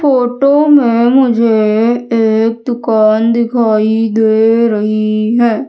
Photo में मुझे एक दुकान दिखाई दे रही है।